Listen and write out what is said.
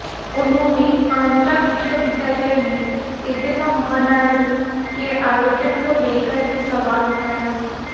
उन्होंने आंध्रा विश्वविद्यालय में तेदेपा महानाडू के आयोजन को लेकर भी सवाल उठाया